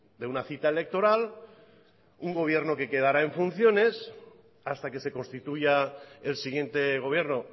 de una cita electoral un gobierno que quedará en funciones hasta que se constituya el siguiente gobierno